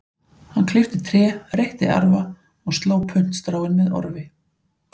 Hann klippti tré, reytti arfa og sló puntstráin með orfi.